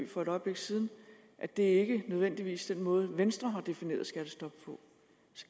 for et øjeblik siden at det ikke nødvendigvis er den måde venstre har defineret skattestoppet på